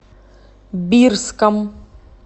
бирском